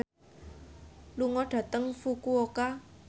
lunga dhateng Fukuoka